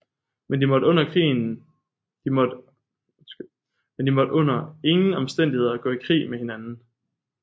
Men de måtte under ingen omstændigheder gå i krig med hinanden